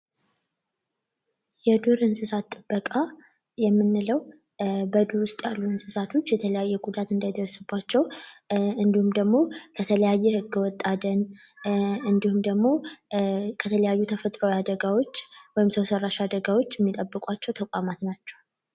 የዱር እንስሳት ጥበቃ የምንለው በዱር ውስጥ ያሉ እንስሳቶች የተለያየ አደጋ እንዳይደርስባቸው እንዲሁም ደግሞ ከተለያየ ከተለያየ ህገወጥ አደን እንዲሁም ደግሞ ከተፈጥሮአዊ ወይም ሰው ሰራሽ አደጋዎች የሚጠብቋቸው ተቋማት ናቸው።